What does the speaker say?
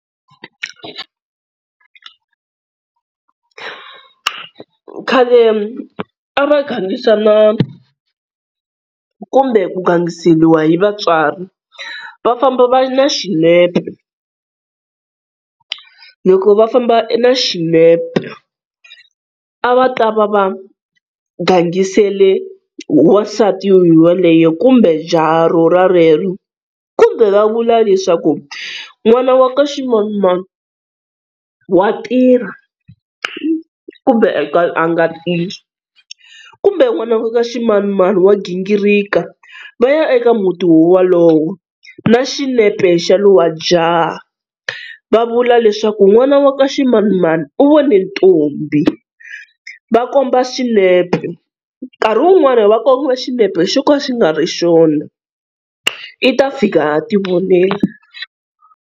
Khale a va gangisana kumbe ku gangiseriwa hi vatswari, va famba na xinepe loko va famba na xinepe a va ta va va gangisele wansati ye yaloye kumbe jaha ro ra lero, kumbe va vula leswaku n'wana wa ka ximanimani wa tirha kumbe a nga tirhi, kumbe nwana wa ka ximanimani wa gingirika, va ya eka muti wo walowo na xinepe xa lowa jaha, va vula leswaku n'wana wa ka ximanimani u vone ntombhi, va komba swinepe, nkarhi wun'wania va kombiwa xinepe xo ka xi nga ri xona i ta fika a ti vonela.